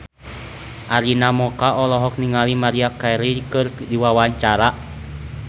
Arina Mocca olohok ningali Maria Carey keur diwawancara